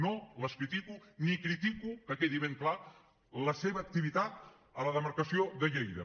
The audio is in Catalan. no les critico ni critico que quedi ben clar la seva activitat a la demarcació de lleida